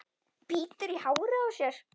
Bítur í hárið á sér.